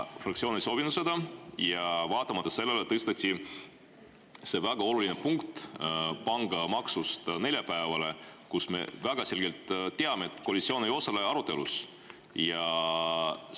Fraktsioon ei soovinud seda, aga vaatamata sellele tõsteti see väga oluline punkt, mis puudutab pangamaksu, neljapäevale, kuigi me väga selgelt teame, et siis koalitsioon arutelul ei osale.